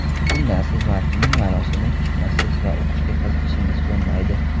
Shunda siz matnning ma’nosini tushunasiz va o‘qishga qiziqishingiz so‘nmaydi.